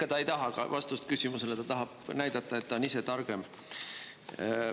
Ega ta ei taha vastust küsimusele, ta tahab näidata, et ta on ise targem.